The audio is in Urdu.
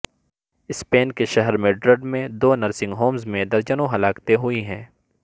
اسپین کے شہر میڈرڈ میں دو نرسنگ ہومز میں درجنوں ہلاکتیں ہوئیں